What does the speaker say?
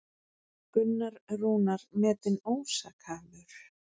Gunnar Rúnar metinn ósakhæfur